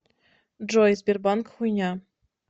джой сбербанк хуйня